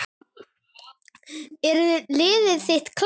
Er liðið þitt klárt?